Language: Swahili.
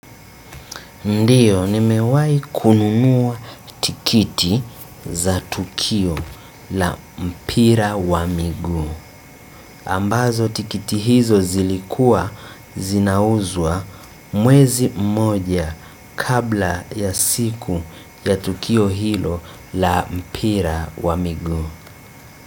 Ndiyo nimewai kunumuwa tikiti za tukio la mpira wa miguu. Ambazo tikiti hizo zilikua zinauzwa mwezi mmoja kabla ya siku ya tukio hilo la mpira wa miguu.